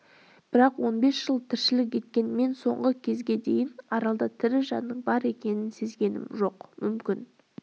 бірақ он бес жыл тіршілік еткен мен соңғы кезге дейін аралда тірі жанның бар екенін сезгенім жоқ мүмкін